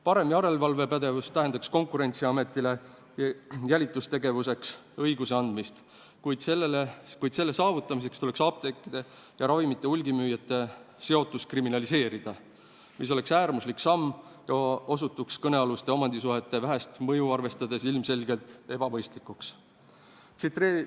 Parem järelevalvepädevus tähendaks Konkurentsiametile jälitustegevuseks õiguse andmist, kuid selle saavutamiseks tuleks apteekide ja ravimite hulgimüüjate seotus kriminaliseerida, mis oleks äärmuslik samm ja osutuks kõnealuste omandisuhete vähest mõju arvestades ilmselgelt ebaproportsionaalseks.